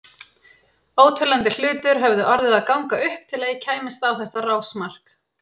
Óteljandi hlutir höfðu orðið að ganga upp til að ég kæmist á þetta rásmark.